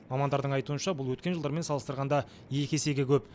мамандардың айтуынша бұл өткен жылдармен салыстырғанда екі есеге көп